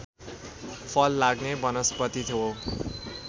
फल लाग्ने वनस्पति हो